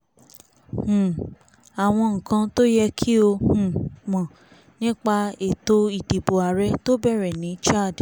um àwọn nǹkan tó yẹ kí o um mọ̀ nípa ètò ìdìbò àárẹ̀ tó bẹ̀rẹ̀ ní chad